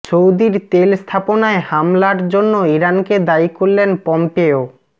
সৌদির তেল স্থাপনায় হামলার জন্য ইরানকে দায়ী করলেন পম্পেও